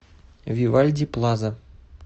вивальди плаза